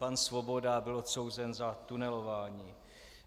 Pan Svoboda byl odsouzen za tunelování.